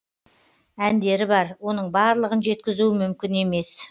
әндері бар оның барлығын жеткізу мүмкін емес